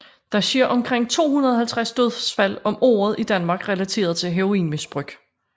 Der sker omkring 250 dødsfald om året i Danmark relateret til heroinmisbrug